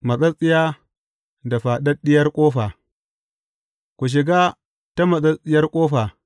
Matsattsiya da faɗaɗɗiyar ƙofa Ku shiga ta matsattsiyar ƙofa.